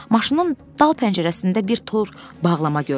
Maşının dal pəncərəsində bir tor bağlama görünürdü.